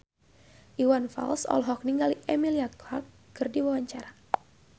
Iwan Fals olohok ningali Emilia Clarke keur diwawancara